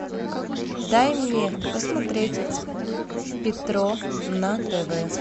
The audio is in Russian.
дай мне посмотреть петро на тв